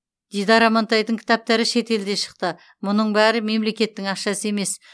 дидар амантайдың кітаптары шетелде шықты мұның бәрі мемлекеттің ақшасы емес